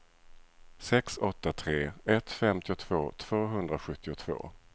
sex åtta tre ett femtiotvå tvåhundrasjuttiotvå